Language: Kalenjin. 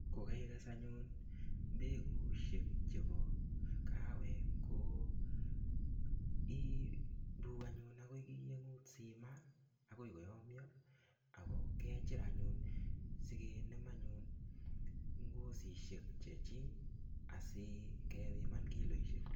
Kokakiges anyun mbekusiek chebo kawek ko irur anyuun akoi simaa akoi koyam Ako kechur anyun sikinem ngosisiek Chechik asi kebiman kiloisiek